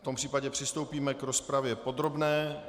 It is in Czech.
V tom případě přistoupíme k rozpravě podrobné.